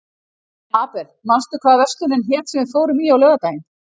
Abel, manstu hvað verslunin hét sem við fórum í á laugardaginn?